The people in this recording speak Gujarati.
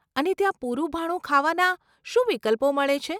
અને ત્યાં પૂરું ભાણું ખાવાના શું વિકલ્પો મળે છે?